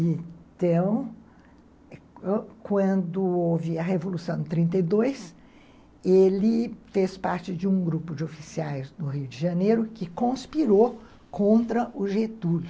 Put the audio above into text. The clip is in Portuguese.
Então, quando houve a Revolução de trinta e dois, ele fez parte de um grupo de oficiais do Rio de Janeiro que conspirou contra o Getúlio.